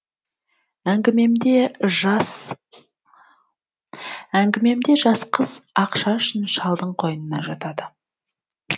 әңгімемде жас қыз ақша үшін шалдың қойнына жатады